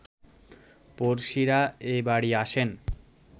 পড়শিরা এ বাড়ি আসেন